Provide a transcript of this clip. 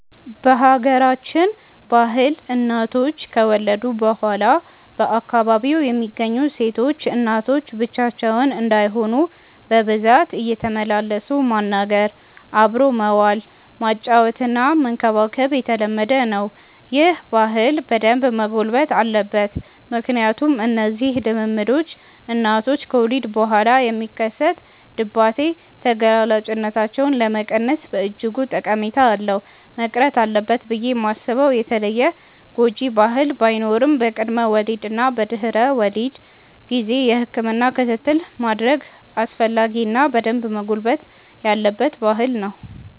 በሀገራችን ባህል እናቶች ከወለዱ በኋላ በአካባቢው የሚገኙ ሴቶች እናቶች ብቻቸውን እንዳይሆኑ በብዛት እየተመላለሱ ማናገር፣ አብሮ መዋል፣ ማጫወትና መንከባከብ የተለመደ ነው። ይህ ባህል በደንብ መጎልበት አለበት ምክንያቱም እነዚህ ልምምዶች እናቶች ከወሊድ በኋላ የሚከሰት ድባቴ ተጋላጭነታቸውን ለመቀነስ በእጅጉ ጠቀሜታ አለው። መቅረት አለበት ብዬ ማስበው የተለየ ጎጂ ባህል ባይኖርም በቅድመ ወሊድ እና በድህረ ወሊድ ጊዜ የህክምና ክትትል ማድረግ አስፈላጊ እና በደንብ መጎልበት ያለበት ባህል ነው።